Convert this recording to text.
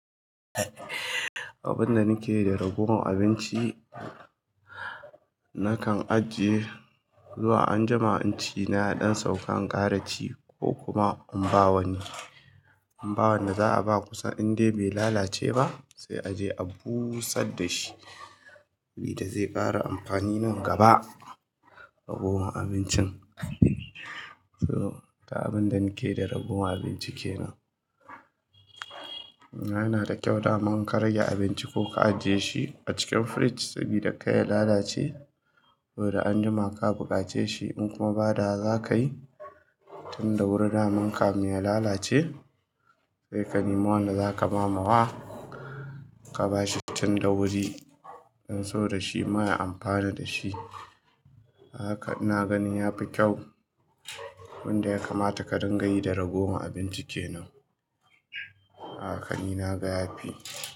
Abin da nake yi da raguwan abinci nakan ajiye zuwa anjima in ci na ɗan sauka in ƙarachi ko kuma mbawani. Mba wanda za a ba kusa indai bai lalace ba sai a je a busar da shi wanda zai ƙara amfani nan gaba. Raguwan abincin so abin da nake da raguwan abinci kenan. Ya na da kyau daman ka rage abinci ko ka ajiye shi a cikin fridge sabida kai ya lalace. Wai da anjima ka buƙace shi in kuma ba da haka za ka yi tun da wuri daman ka min ya lalace sai ka nemo wanda za ka ba mamowa ka bashi tun da wuri don so da shi ma ya amfana da shi. Haka inna ganin ya fi kyau wanda ya kamata ka dinga yi da raguwan abinci kenan. Haka ni na ga ya fi.